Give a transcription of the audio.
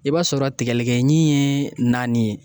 I b'a sɔrɔ tigɛlikɛɲin ye naani ye